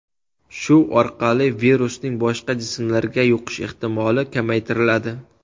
Shu orqali virusning boshqa jismlarga yuqish ehtimoli kamaytiriladi.